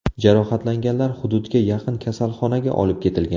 Jarohatlanganlar hududga yaqin kasalxonaga olib ketilgan.